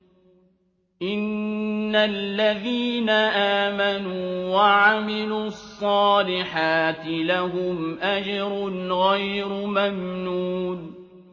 إِنَّ الَّذِينَ آمَنُوا وَعَمِلُوا الصَّالِحَاتِ لَهُمْ أَجْرٌ غَيْرُ مَمْنُونٍ